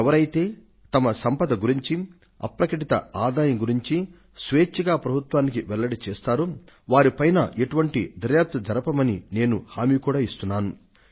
ఎవరైతే వారి సంపదను గురించి అప్రకటిత ఆదాయాన్ని గురించి స్వేచ్ఛగా ప్రభుత్వానికి వెల్లడి చేస్తారో వారి పైన ఎటువంటి సోదా జరపబోమని నేను హామీని కూడా ఇస్తున్నాను